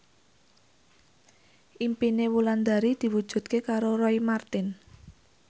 impine Wulandari diwujudke karo Roy Marten